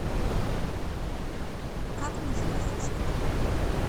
как мне заказать цветы